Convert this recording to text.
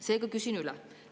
Seega küsin üle.